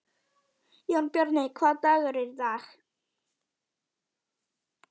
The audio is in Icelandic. Jónbjarni, hvaða dagur er í dag?